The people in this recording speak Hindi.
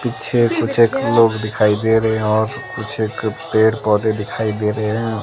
कुछ पीछे लोग दिखाई दे रहे हैं और कुछ एक पेड़ पौधे दिखाई दे रहे हैं।